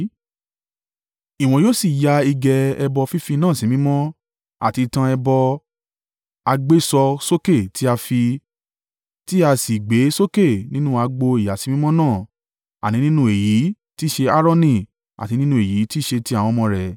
“Ìwọ yóò sì ya igẹ̀ ẹbọ fífì náà sí mímọ́, àti ìtàn ẹbọ à gbé sọ sókè tí a fì, tí a sì gbé sọ sókè nínú àgbò ìyàsímímọ́ náà, àní nínú èyí tí í ṣe Aaroni àti nínú èyí tí ì ṣe tí àwọn ọmọ rẹ̀.